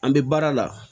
An bɛ baara la